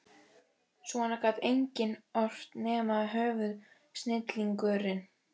Svona gat enginn ort nema höfuðsnillingurinn